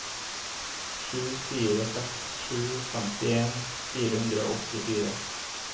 sju fire seks sju femtien fire hundre og åttifire